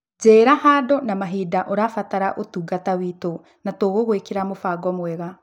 Njĩra handũ na mahinda ũrabatara ũtungata ũtũ, na tũgũgwĩkĩra mũbango mwega.